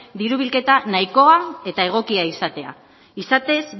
diru bilketa nahikoa eta egokia izatea izatez